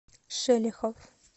шелехов